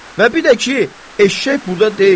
Və bir də ki, eşşək burda deyil.